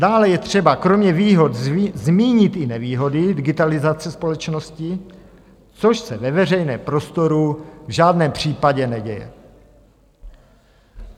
Dále je třeba kromě výhod zmínit i nevýhody digitalizace společnosti, což se ve veřejném prostoru v žádném případě neděje.